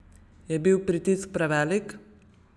Je bil pritisk prevelik?